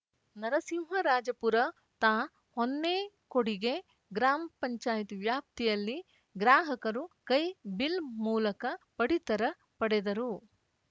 ನರಸಿಂಹರಾಜಪುರ ತಾ ಹೊನ್ನೇಕುಡಿಗೆ ಗ್ರಾಮ್ ಪಂಚಾಯತ್ ವ್ಯಾಪ್ತಿಯಲ್ಲಿ ಗ್ರಾಹಕರು ಕೈ ಬಿಲ್‌ ಮೂಲಕ ಪಡಿತರ ಪಡೆದರು